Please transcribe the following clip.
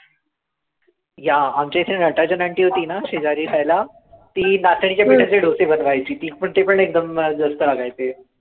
Yeah आमच्या इथे Natarajan aunty होती ना शेजारी राहायला ती नाचणीच्या पिठाचे डोसे बनवायची ती ते पण एकदम मस्त लागायचे.